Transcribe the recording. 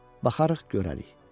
Baxarıq, görərik.